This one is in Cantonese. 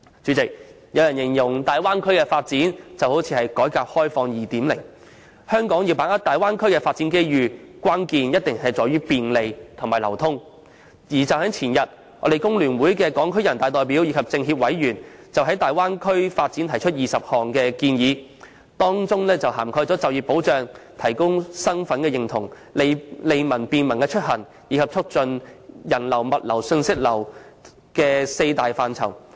前天，屬香港工會聯合會的全國人民代表大會港區代表及中國人民政治協商會議全國委員會香港地區委員就大灣區發展提出了20項建議，當中涵蓋就業保障、提高身份認同、利民便民出行及促進人流、物流和信息流這四大範疇。